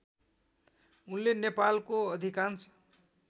उनले नेपालको अधिकांश